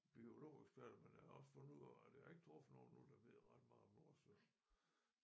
Biologeksperter men jeg har også fundet ud af at jeg har ikke truffet nogen endnu der ved ret meget om Nordsøen